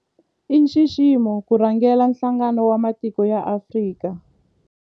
I nxiximo ku rhangela Nhlangano wa Matiko ya Afrika, AU.